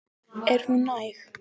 Er hún næg?